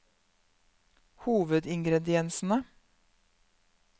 hovedingrediensene